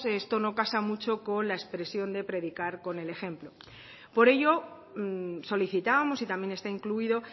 esto no casa mucho con la expresión de predicar con el ejemplo por ello solicitábamos y también está incluido